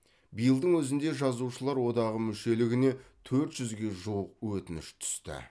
биылдың өзінде жазушылар одағы мүшелігіне төрт жүзге жуық өтініш түсті